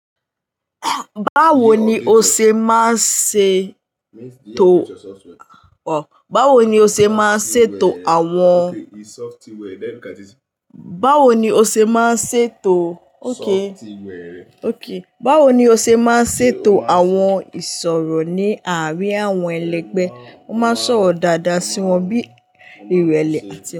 Báwo ni o ṣe máa ṣe tò, báwo ni o ṣe máa ṣe tò àwọn, báwo ni o ṣe máa ṣe tò, okay, okay, báwo ni o ṣe máa ṣe tò àwọn ìsọ̀rọ̀ ní àárín àwọn ẹlẹgbẹ́? Wọ́n máa sọ̀rọ̀ dáadáa sí wọn bí ìrẹ̀lẹ̀